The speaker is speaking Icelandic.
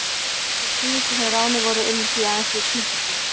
Þeir síðustu sem ráðnir voru unnu því aðeins í klukkustund.